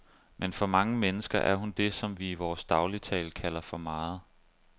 Men for mange mennesker er hun det, som vi i vores dagligtale kalder for meget.